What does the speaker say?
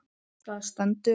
Það stendur